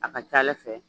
A ka ca ala fɛ